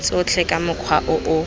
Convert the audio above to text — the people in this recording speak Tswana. tsotlhe ka mokgwa o o